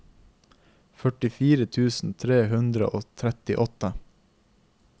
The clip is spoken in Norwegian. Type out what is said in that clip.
førtifire tusen tre hundre og trettiåtte